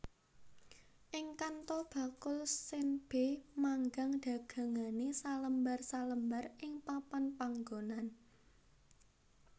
Ing Kanto bakul senbei manggang dagangane salembar salembar ing papan panggonan